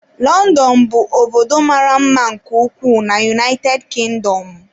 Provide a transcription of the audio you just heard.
London bụ obodo mara mma nke ukwuu na United Kindomụ.